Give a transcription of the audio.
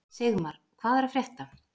Sigmar, hvað er að frétta?